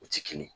U ti kelen ye